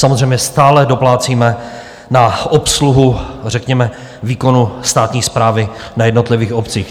Samozřejmě stále doplácíme na obsluhu řekněme výkonu státní správy na jednotlivých obcích.